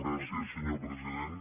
gràcies senyor president